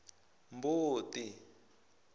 mbuti